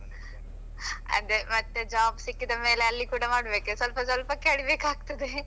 ಅದೇ ಮತ್ತೆ job ಸಿಕ್ಕಿದ ಮೇಲೆ ಅಲ್ಲಿ ಕೂಡ ಮಾಡಬೇಕೆ ಸ್ವಲ್ಪ ಸ್ವಲ್ಪ ಕಲೀಬೇಕಾಗ್ತದೆ .